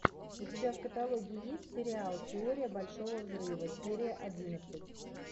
у тебя в каталоге есть сериал теория большого взрыва серия одиннадцать